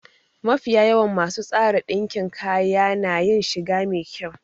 Mafiya yawan masu tsara ɗinkin kaya na yin shiga me kyau